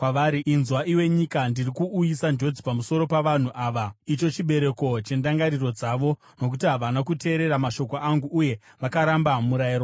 Inzwa, iwe nyika: Ndiri kuuyisa njodzi pamusoro pavanhu ava, icho chibereko chendangariro dzavo, nokuti havana kuteerera mashoko angu, uye vakaramba murayiro wangu.